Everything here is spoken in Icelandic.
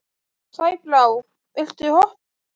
Sæbrá, viltu hoppa með mér?